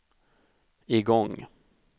igång